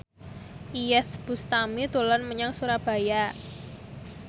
Iyeth Bustami dolan menyang Surabaya